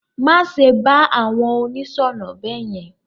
Má ṣe bá àwọn oníṣọ̀nà beyen.